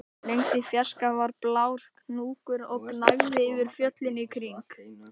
Lengst í fjarska var blár hnúkur og gnæfði yfir fjöllin í kring